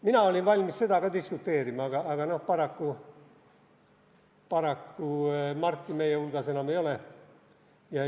Mina olin valmis selle üle ka diskuteerima, aga paraku Marti meie hulgas enam ei ole.